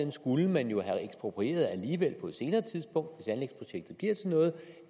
skulle man jo have eksproprieret alligevel på et senere tidspunkt hvis anlægsprojektet bliver til noget